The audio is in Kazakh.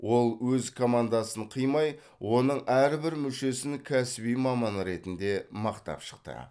ол өз командасын қимай оның әрбір мүшесін кәсіби маман ретінде мақтап шықты